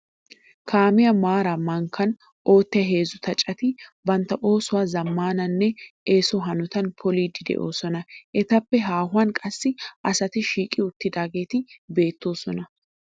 Kaamiya maaraa mankkaa oyttiya heezzu xaaceti bantta oosuwa zammaana nne eeso hanotan poliiddi doosona. Etappe haahuwan qassi asati shiiqi uttidaageeti beettoosona.